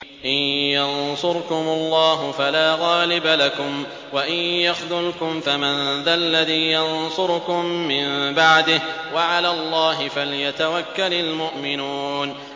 إِن يَنصُرْكُمُ اللَّهُ فَلَا غَالِبَ لَكُمْ ۖ وَإِن يَخْذُلْكُمْ فَمَن ذَا الَّذِي يَنصُرُكُم مِّن بَعْدِهِ ۗ وَعَلَى اللَّهِ فَلْيَتَوَكَّلِ الْمُؤْمِنُونَ